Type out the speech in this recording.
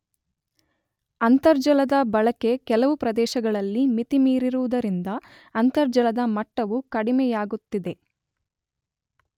ಅಂತರ್ಜಲದ ಬಳಕೆ ಕೆಲವು ಪ್ರದೇಶಗಳಲ್ಲಿ ಮಿತಿಮೀರಿರುವುದರಿಂದ ಅಂತರ್ಜಲದ ಮಟ್ಟವೂ ಕಡಿಮೆಯಾಗುತ್ತಿದೆ.